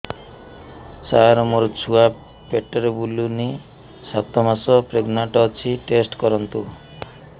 ସାର ମୋର ଛୁଆ ପେଟରେ ବୁଲୁନି ସାତ ମାସ ପ୍ରେଗନାଂଟ ଅଛି ଟେଷ୍ଟ କରନ୍ତୁ